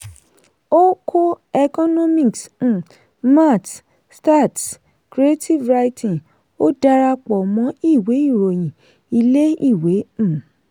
ó kó economics um maths stats creative writing ó darapọ̀ mọ́ ìwé ìròyìn ilé-ìwé. um